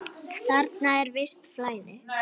Þarna er visst flæði.